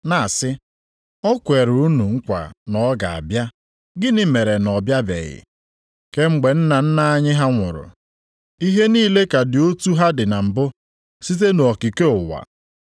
na-asị, “O kwere unu nkwa na ọ ga-abịa, gịnị mere na ọ bịabeghị? Kemgbe nna nna anyị ha nwụrụ, ihe niile ka dị otu ha dị na mbụ, site nʼokike ụwa.”